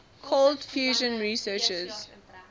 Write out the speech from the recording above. cold fusion researchers